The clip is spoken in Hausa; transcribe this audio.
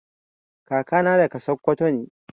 Kaka na daga sakwato ne.